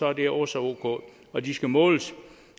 er det også ok og de skal måles